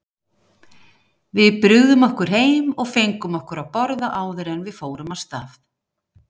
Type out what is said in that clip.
Við brugðum okkur heim og fengum okkur að borða áður en við fórum af stað.